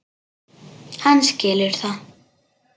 Hann skilur það.